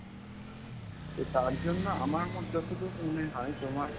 তো তার জন্য আমার মনে~ যতদূর মনে হয় তোমার,